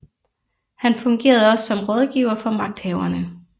Han fungerede også som rådgiver for magthaverne